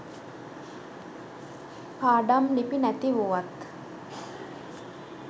පාඩම් ලිපි නැති වුවත්